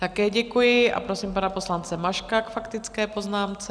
Také děkuji a prosím pana poslance Maška k faktické poznámce.